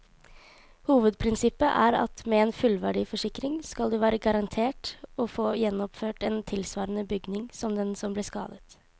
Hovedprinsippet er at med en fullverdiforsikring skal du være garantert å få gjenoppført en tilsvarende bygning som den som ble skadet.